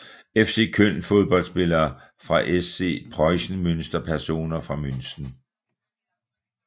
FC Köln Fodboldspillere fra SC Preußen Münster Personer fra Münster